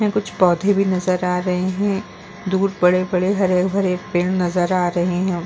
यहाँ कुछ पौधे भी नजर आ रहे है। दूर बड़े-बड़े हरे-हरे पेड़ नजर आ रहे है।